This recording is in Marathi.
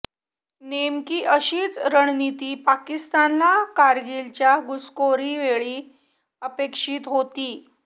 नेमकी अशीच रणनीती पाकिस्तानला कारगिलच्या घुसखोरीवेळी अपेक्षित होती